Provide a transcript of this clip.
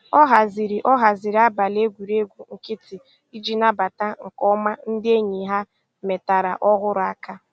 Ọ haziri Ọ haziri abalị egwuregwu nkịtị iji nabata nke ọma ndị enyi ha metara ọhụrụ aka